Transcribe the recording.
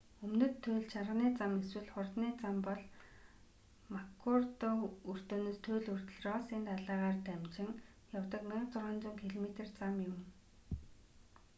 өмнөд туйлын чарганы зам эсвэл хурдны зам бол маккурдо өртөөнөөс туйл хүртэл россын далайгаар дамжин явдаг 1600 км зам юм